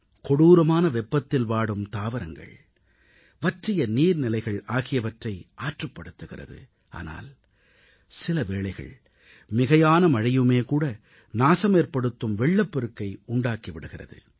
கொடூரமான வெப்பத்தில் வாடும் தாவரங்கள் வற்றிய நீர்நிலைகள் ஆகியவற்றை ஆற்றுப் படுத்துகிறது ஆனால் சில வேளைகள் மிகையான மழையுமேகூட நாசமேற்படுத்தும் வெள்ளப்பெருக்கை உண்டாக்கி விடுகிறது